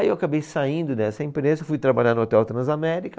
Aí eu acabei saindo dessa empresa, fui trabalhar no Hotel Transamérica.